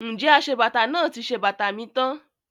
Ǹjẹ́ aṣebàtà náà ti ṣe bàtà mi tán?